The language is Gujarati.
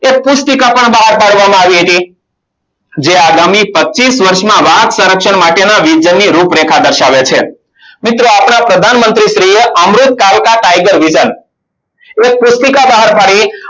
એક પુસ્તિકા પણ બહાર પાડવામાં આવી હતી. જે આગામી પચ્ચીસ વર્ષમાં વાઘ સંરક્ષણ માટેના vision ની રૂપરેખા દર્શાવે છે. મિત્રો આપણા પ્રધાનમંત્રી શ્રી એ અમૃત કાળકા tiger vision એક પુસ્તિકા બહાર પાડી.